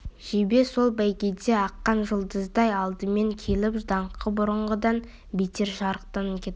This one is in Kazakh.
жебе сол бәйгеде аққан жұлдыздай алдымен келіп даңқы бұрынғыдан бетер шарықтап кетті